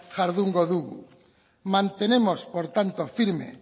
jardungo du mantenemos por tanto firme